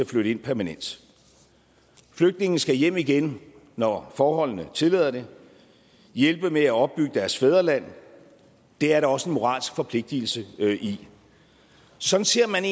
flytte ind permanent flygtninge skal hjem igen når forholdene tillader det hjælpe med at opbygge deres fædreland det er der også en moralsk forpligtelse i sådan ser man